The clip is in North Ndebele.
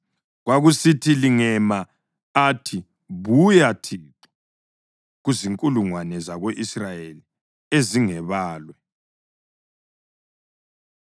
Kwakusithi lingema, athi, “Buya, Thixo, kuzinkulungwane zako-Israyeli ezingebalwe.”